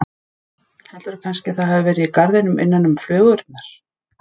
Heldurðu kannski að það hafi verið í garðinum innan um flugurnar?